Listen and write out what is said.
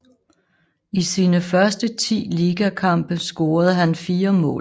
I sine første ti ligakampe scorede han fire mål